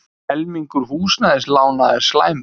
Helmingur húsnæðislána er slæmur